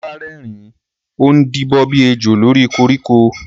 Olá rẹ́rìn-ín, ó ń díbọ́n bí ejò lórí koríko.